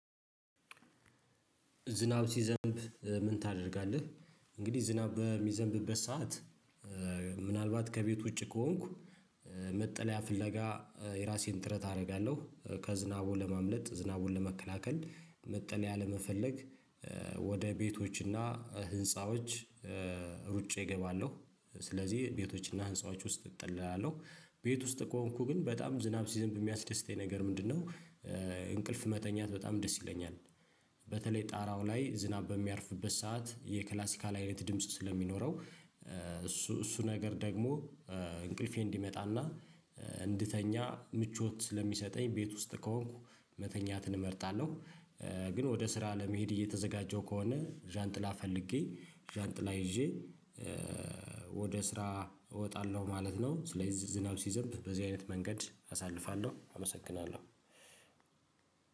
"ዝናብ ሲዘንብ ምን ታደርጋለህ?" እንግዲህ ዝናብ በሚዘንብበት ሰዓት ምናልባት ከቤት ውጪ ከሆንኩ መጠለያ ፍለጋ የራሴን ጥረት አደርጋለሁ። ከዝናቡ ለማምለጥ፣ ዝናቡን ለመከላከል፣ መጠለያ ለመፈለግ፣ ወደ ቤቶችና ህንፃዎች ሩጬ እገባለሁ። ስለዚህ ቤቶችና ህንፃዎች ውስጥ እጠላለሁ። ቤት ውስጥ ከሆንኩ ግን በጣም ዝናብ ሲዝንብ የሚያስደስተኝ ነገር ምንድነው? እንቅልፍ መተኛት በጣም ደስ ይለኛል። በተለይ ጣራው ላይ ዝናብ በሚያርፍበት ሰዓት የክላሲካል አይነት ድምጽ ስለሚኖረው፤ እሱ እሱ ነገር ደግሞ እንቅልፌ እንዲመጣና እንድተኛ ምቾት ስለሚሰጠኝ ቤት ውስጥ ከሆንኩ መተኛትን እመርጣለሁ። ግን ወደ ስራ ለመሄድ እየተዘጋጀሁ ከሆነ፤ ዣንጥላ ፈልጌ፣ ዣንጥላ ይዤ፣ ወደ ስራ እወጣለሁ ማለት ነው። ስለዚህ ዝናብ ሲዘንብ በዚህ አይነት መንገድ አሳልፋለሁ። አመሰግናለሁ።